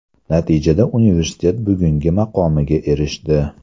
Natijada universitet bugungi maqomiga erishdi.